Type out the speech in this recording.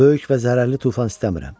Böyük və zərərli tufan istəmirəm.